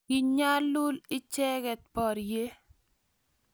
kiinyalul icheke borye